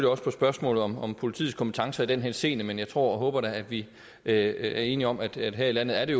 også på spørgsmål om om politiets kompetence i den henseende men jeg tror og håber da at vi er enige om at her i landet er det